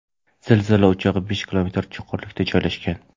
Zilzila o‘chog‘i besh kilometr chuqurlikda joylashgan.